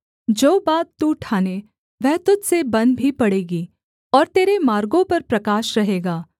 जो बात तू ठाने वह तुझ से बन भी पड़ेगी और तेरे मार्गों पर प्रकाश रहेगा